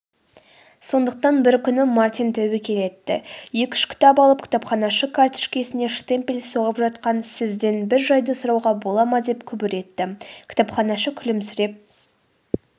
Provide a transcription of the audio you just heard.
сондықтан бір күні мартин тәуекел етті екі-үш кітап алып кітапханашы картішкесіне штемпель соғып жатқандасізден бір жайды сұрауға бола ма деп күбір етті.кітапханашы күлімсіреп